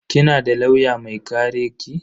Kina da lauya mai kare ki?